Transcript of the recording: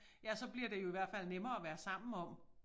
Ja og så bliver det jo i hvert fald nemmere at være sammen om